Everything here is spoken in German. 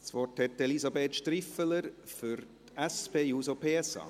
Das Wort hat Elisabeth Striffeler für die SP-JUSO-PSA.